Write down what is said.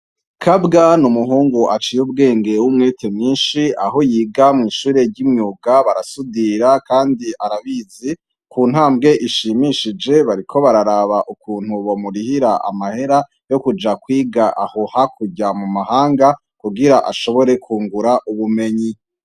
Kabwa ni umuhungu aciye ubwengew'umwete myinshi aho yiga mw'ishure ry'imwuga barasudira, kandi arabizi ku ntambwe ishimishije bariko bararaba ukuntu bo murihira amahera yo kuja kwiga ahoha kurya mu mahanga kugira ashobore kungura ubumenyi.